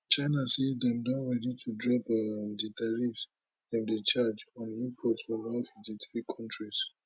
china say dem don ready to drop um di tariffs dem dey charge on imports from all fifty three african kontris